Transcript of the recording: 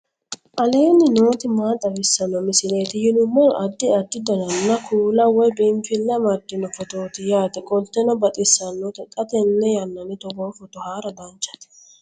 aleenni nooti maa xawisanno misileeti yinummoro addi addi dananna kuula woy biinfille amaddino footooti yaate qoltenno baxissannote xa tenne yannanni togoo footo haara danchate